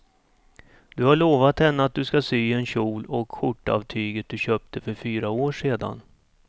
Du har lovat henne att du ska sy en kjol och skjorta av tyget du köpte för fyra år sedan.